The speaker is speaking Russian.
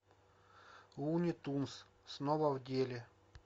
луни тюнз снова в деле